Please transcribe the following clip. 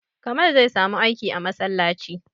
Kamal zai samu aiki a masallaci